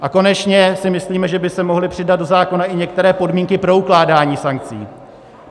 A konečně si myslíme, že by se mohly přidat do zákona i některé podmínky pro ukládání sankcí.